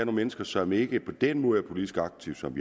mennesker som ikke på den måde er politisk aktive som